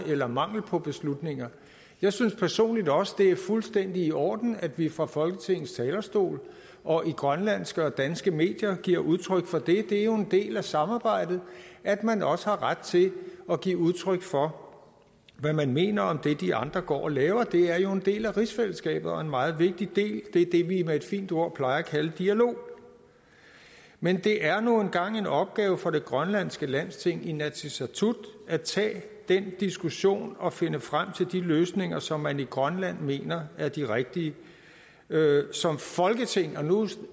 eller mangel på beslutninger jeg synes personligt også det er fuldstændig i orden at vi fra folketingets talerstol og i grønlandske og danske medier giver udtryk for det det er jo en del af samarbejdet at man også har ret til at give udtryk for hvad man mener om det de andre går og laver det er en del af rigsfællesskabet og en meget vigtig del det er det vi med et fint ord plejer at kalde dialog men det er nu engang en opgave for det grønlandske landsting inatsisartut at tage den diskussion og finde frem til de løsninger som man i grønland mener er de rigtige som folketing og nu